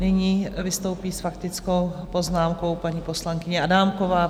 Nyní vystoupí s faktickou poznámkou paní poslankyně Adámková.